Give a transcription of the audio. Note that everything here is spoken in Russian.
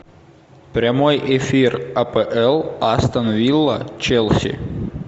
прямой эфир апл астон вилла челси